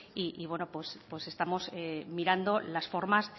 y bueno pues estamos mirando las formas